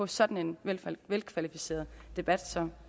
sådan en velkvalificeret debat